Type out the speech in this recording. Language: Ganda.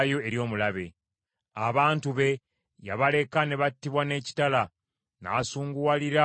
Abantu be yabaleka ne battibwa n’ekitala, n’asunguwalira omugabo gwe.